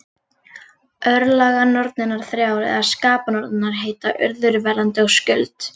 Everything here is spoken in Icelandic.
Örlaganornirnar þrjár, eða skapanornirnar, heita Urður, Verðandi og Skuld.